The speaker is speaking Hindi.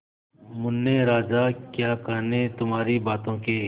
मुन्ने राजा क्या कहने तुम्हारी बातों के